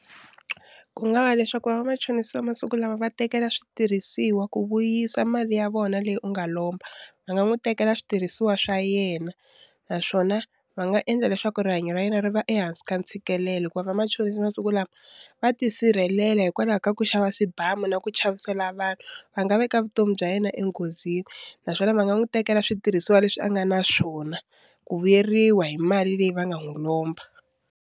Ku nga va leswaku va vamachonisi va masiku lawa va tekela switirhisiwa ku vuyisa mali ya vona leyi u nga lomba va nga n'wi tekela switirhisiwa swa yena naswona va nga endla leswaku rihanyo ra yena ri va ehansi ka ntshikelelo hikuva vamachonisi masiku lawa va ti sirhelela hikwalaho ka ku xava swibamu na ku chavisela vanhu va nga veka vutomi bya yena enghozini naswona va nga n'wi tekela switirhisiwa leswi a nga na swona ku vuyeriwa hi mali leyi va nga n'wi lomba.